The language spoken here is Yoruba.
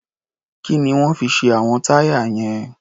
Kí ni wọ́n fi ṣe àwọn táyà yẹn?